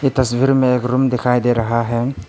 तस्वीर में एक रूम दिखाई दे रहा है।